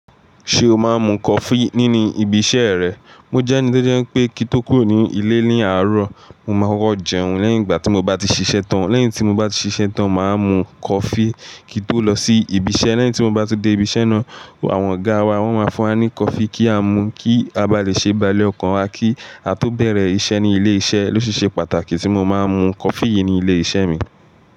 Ṣé o máa ń mu coffee nínu ibi iṣẹ́ rẹ? Mo jẹ́ ẹni tó jẹ́ pé kí tó kúrò ní ilé ní àárọ̀, mo máa kọ jẹun lẹ́yìn ìgbà tí mo bá ti ṣiṣẹ́ tán. Lẹ́yìn tí mo bá ti ṣiṣẹ́ tán, màá mu coffee kí n tó lọ sí ibi iṣẹ́. Lẹ́yìn tí mo bá ti dé ibi iṣẹ́ náà, àwọn ọ̀gáa wa, wọ́n máa fún wa ní coffee kí á mu kí a bá lè ṣe baálé ọkàn wa kí a tó bẹ̀rẹ̀ iṣẹ́ ní ilé iṣẹ́. Coffee siṣe pàtàkì tí mo máa ń mu coffee yii ní ilé iṣẹ́ mi.